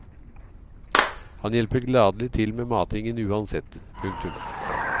Han hjelper gladelig til med matingen uansett. punktum